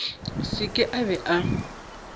se ke a be a